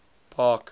park